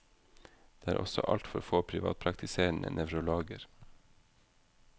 Det er også altfor få privatpraktiserende nevrologer.